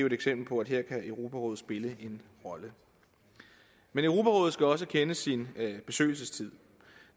et eksempel på at her kan europarådet spille en rolle europarådet skal også kende sin besøgelsestid